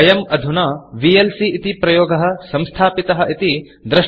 वयम् अधुना vlcविएल्सी इति प्रयोगः संस्थापितः इति द्रष्टुं शक्नुमः